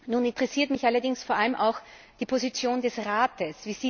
Nun interessiert mich allerdings vor allem auch die Position des Rates.